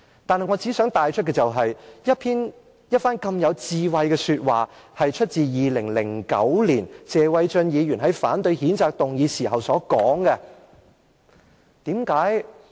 不過，我想帶出的是，這番如此有智慧的說話，是謝偉俊議員在2009年反對譴責議案時所說的。